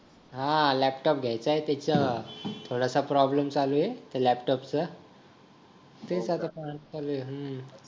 हा लॅपटॉप घ्यायचा आहे त्याच्यात थोडासा प्रॉब्लेम चालू आहे लॅपटॉपचा ते आता काम चालू आहे